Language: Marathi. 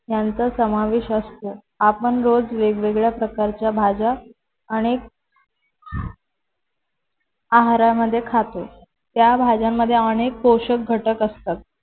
यांचा समावेश असतो आपण रोज वेगळ्या प्रकारच्या भाज्या अनेक आहारामध्ये खातो त्या भाज्यांमध्ये अनेक पोषक घटक असतात